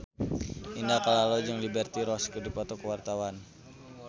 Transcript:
Indah Kalalo jeung Liberty Ross keur dipoto ku wartawan